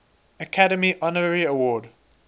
academy honorary award